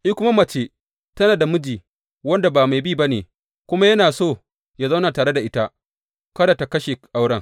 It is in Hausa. In kuma mace tana da miji wanda ba mai bi ba ne, kuma yana so yă zauna tare da ita, kada tă kashe auren.